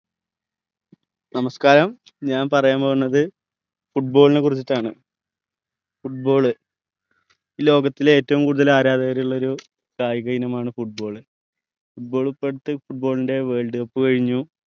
നമസ്കാരം ഞാൻ പറയാൻ പോണത് football നെ കുറിച്ചിട്ടാണ് football ഈ ലോകത്തിലെ ഏറ്റവു കൂടുതൽ ആരാധകര് ഉള്ളൊരു കായികഇനം ആണ് football football ഇപ്പൊ അടുത് football ന്റെ world cup കൈനു